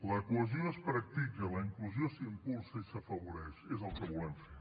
la cohesió es practica la inclusió s’impulsa i s’afavoreix que és el que volem fer